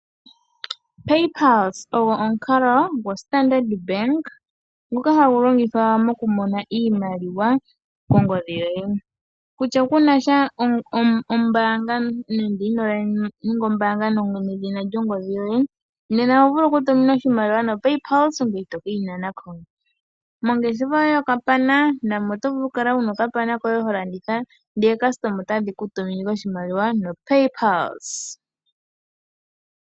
PayPulse ogo omukalo goStandard Bank ngoka hagu longithwa moku mona iimaliwa kongodhi yoye, kutya kunasha ombaanga nande ino ninga ombaanga nedhina lyongodhi yoye, nena oho vulu oku tuminwa oshimaliwa noPayPulse ngoye to keyi nana ko. Mongeshefa yoye yokapana namo oto vulu oku kala wuna okapana koye ho landitha nookasitoma otadhi ku tumine ashike oshimaliwa noPayPulse.